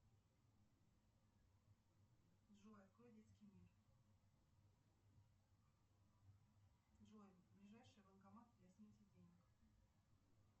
джой открой детский мир джой ближайший банкомат для снятия денег